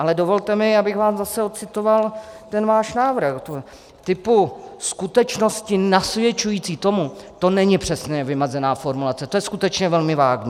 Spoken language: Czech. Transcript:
Ale dovolte mi, abych vám zase ocitoval - ten váš návrh typu "skutečnosti nasvědčující tomu", to není přesně vymezená formulace, to je skutečně velmi vágní.